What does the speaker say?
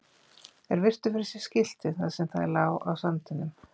Þeir virtu fyrir sér skiltið þar sem það lá á sandinum.